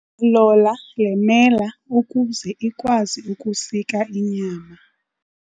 Lola le mela ukuze ikwazi ukusika inyama.